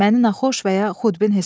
Məni naxoş və ya xudbin hesab edir.